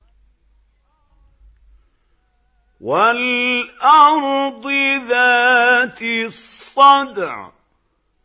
وَالْأَرْضِ ذَاتِ الصَّدْعِ